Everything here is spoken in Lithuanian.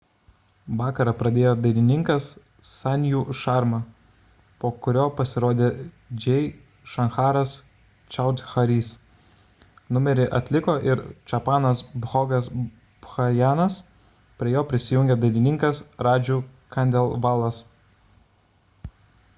vakarą pradėjo dainininkas sanju sharma po kurio pasirodė jai shankaras choudhary'is numerį atliko ir chhappanas bhogas bhajanas prie jo prisijungė dainininkas raju khandelwalas